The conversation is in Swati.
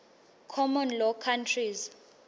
common law countries